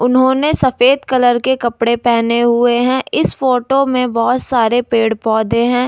उन्होंने सफेद कलर के कपड़े पहने हुए हैं इस फोटो में बहुत सारे पेड़-पौधे हैं।